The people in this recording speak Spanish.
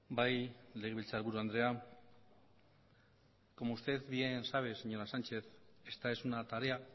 bai legebiltzar buru andrea como usted bien sabe señora sánchez esta es una tarea